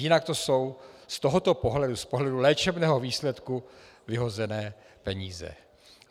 Jinak to jsou z tohoto pohledu, z pohledu léčebného výsledku, vyhozené peníze.